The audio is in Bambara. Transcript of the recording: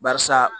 Barisa